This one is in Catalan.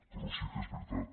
però sí que és veritat